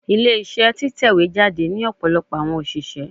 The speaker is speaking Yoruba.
Ile-iṣẹ titẹjade ni ọpọlọpọ awọn oṣiṣẹ